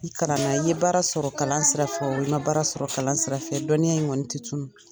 I kalanna ni ye baara sɔrɔ kalan sira fɛ o walima i ma baara sɔrɔ kalan sira fɛ dɔnniya in kɔni tɛ tunun